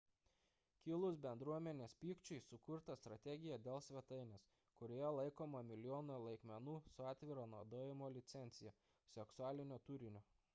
kilus bendruomenės pykčiui sukurta strategija dėl svetainės kurioje laikoma milijonai laikmenų su atviro naudojimo licencija seksualinio turinio